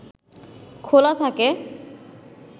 খোলা থাকে